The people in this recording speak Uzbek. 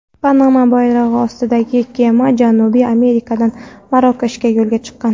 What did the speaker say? Panama bayrog‘i ostidagi kema Janubiy Amerikadan Marokashga yo‘lga chiqqan.